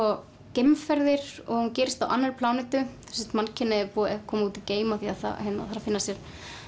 geimferðir og hún gerist á annarri plánetu mannkynið er komið út í geim af því það þarf að finna sér